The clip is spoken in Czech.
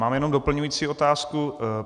Mám jenom doplňující otázku.